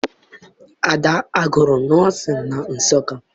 Ada agụrụ nọọsịn na Nsụka?